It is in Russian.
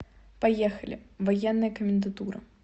поехали военная комендатура